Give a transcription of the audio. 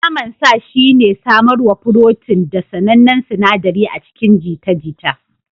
Naman sa shine samarwar furotin da sanannen sinaɗari a cikin jita-jita.